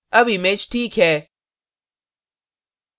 अब image ठीक है